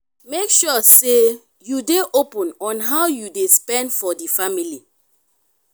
make sure say you de open on how you de spend for di family